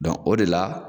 o de la